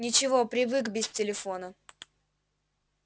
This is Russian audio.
ничего привык без телефона